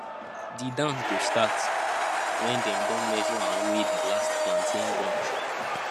di dance go start when dem don measure and weigh di last plantain bunch